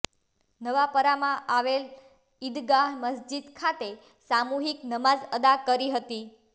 નવાપરામાં આવેલ ઇદગાહ મસ્જિદ ખાતે સામુહિક નમાજ અદા કરી હતી